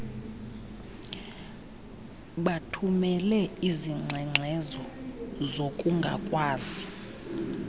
bathumele izingxengxezo zokungakwazi